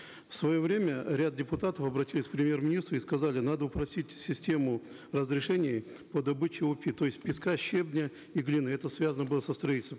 в свое время ряд депутатов обратились к премьер министру и сказали надо упростить систему разрешений по добыче опи то есть песка щебня и глины это связано было строительством